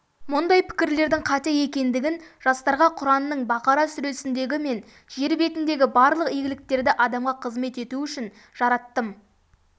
мұндай пікірлердің қате екендігін жастарға құранның бақара сүресіндегі мен жер бетіндегі барлық игіліктерді адамға қызмет ету үшін жараттым